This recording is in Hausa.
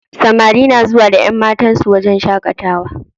Samari na zuwa da ƴanmatan su wajen shaƙatawa.